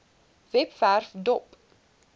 webwerf dop